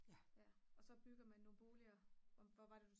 og så bygger man nogle boliger hvor var det